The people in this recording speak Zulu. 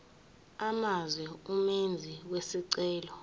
amazwe umenzi wesicelo